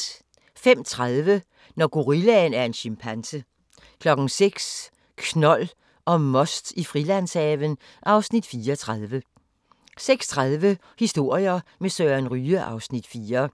05:30: Når gorillaen er en chimpanse 06:00: Knold og most i Frilandshaven (Afs. 34) 06:30: Historier med Søren Ryge (Afs. 4)